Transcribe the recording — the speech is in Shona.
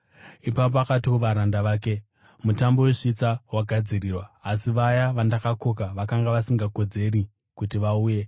“Ipapo akati kuvaranda vake, ‘Mutambo wesvitsa wagadzirirwa asi vaya vandakakoka vakanga vasingakodzeri kuti vauye.